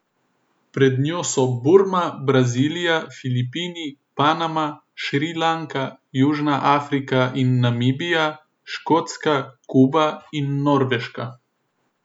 Pred njo so Burma, Brazilija, Filipini, Panama, Šrilanka, Južna Afrika in Namibija, Škotska, Kuba in Norveška.